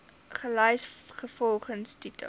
gelys volgens titel